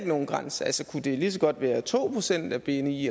nogen grænser kunne det lige så godt være to procent af bni